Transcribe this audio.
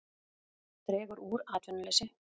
Dregur úr atvinnuleysi